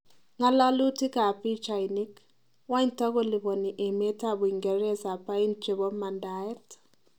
Ngalalutik ab pichainik; Wany takolipani emet ab Uingereze pain chebo mandaet?